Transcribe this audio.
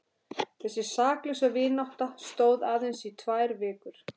Þessi saklausa vinátta stóð aðeins í tvær vikur.